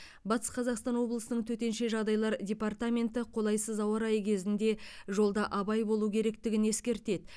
батыс қазақстан облысының төтенше жағдайлар департаменті қолайсыз ауа райы кезінде жолда абай болу керектігін ескертеді